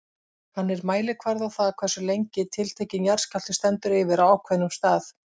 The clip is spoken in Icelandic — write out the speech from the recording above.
Hann er mælikvarði á það hversu lengi tiltekinn jarðskjálfti stendur yfir á ákveðnum stað.